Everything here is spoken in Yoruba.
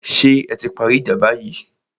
Ṣé ẹ ti parí ìjà báyìí?